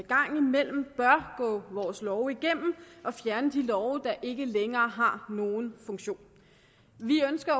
gang imellem bør gå vores love igennem og fjerne de love der ikke længere har nogen funktion vi ønsker